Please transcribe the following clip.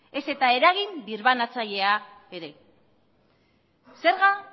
ezta eragin birbanatzailea ere zerga